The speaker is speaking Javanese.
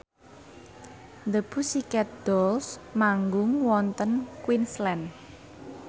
The Pussycat Dolls manggung wonten Queensland